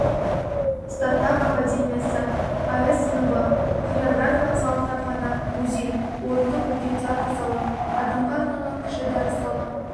стартап-академиясы аі-сыныбы хореографиялық зал кітапхана музей орындық үлкен театр залы адамға арналған кіші дәріс залы